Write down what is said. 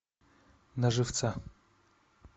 на живца